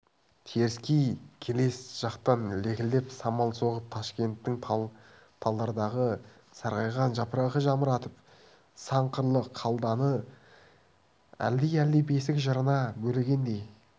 теріскей келес жақтан лекілдеп самал соғып ташкенттің талдардағы сарғайған жапырағын жамыратып сан қырлы қаланы әлди-әлди бесік жырына бөлегендей